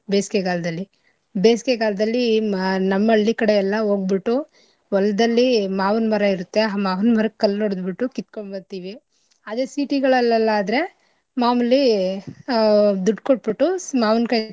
ಬೇಸ್ಗೆಗಾಲದಲ್ಲಿ ಬೇಸ್ಗೆಗಾಲದಲ್ಲಿ ಮ~ ನಮ್ಮ ಹಳ್ಳಿ ಕಡೆ ಎಲ್ಲಾ ಓಗ್ಬುಟ್ಟು ಹೊಲದಲ್ಲಿ ಮಾವಿನ್ ಮರ ಇರುತ್ತೆ ಆ ಮಾವಿನ್ ಮರಕ್ಕ್ ಕಲ್ಲ್ ಹೊಡದ್ಬಿಟ್ಟು ಕಿತ್ಕೊಂಡ್ ಬರ್ತೀವಿ. ಅದೇ city ಗಳಲ್ಲಲ್ಲಾದ್ರೆ ಮಾಮೂಲಿ ಆ ದುಡ್ ಕೊಟ್ಬುಟ್ಟು ಸ್~ ಮಾವಿನ್ಕಾಯ್.